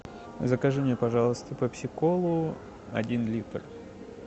закажи мне пожалуйста пепси колу один литр